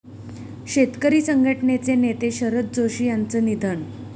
शेतकरी संघटनेचे नेते शरद जोशी यांचं निधन